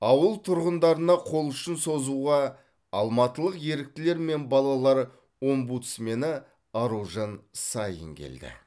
ауыл тұрғындарына қол ұшын созуға алматылық еріктілер мен балалар омбудсмені аружан саин келді